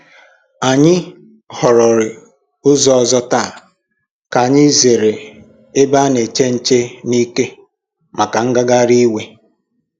Anyị họrọ̀rị ụzọ ọzọ̀ taa ka anyị zere ebe a na-eche nche n’ike màkà ngagharị iwe